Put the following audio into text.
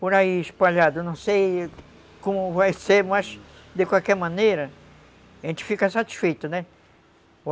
por aí espalhado, não sei como vai ser, mas de qualquer maneira a gente fica satisfeito, né?